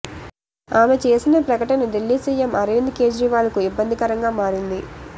ఆమె చేసిన ప్రకటన దిల్లీ సిఎం అరవింద్ కేజ్రీవాల్కు ఇబ్బందికరంగా మారింది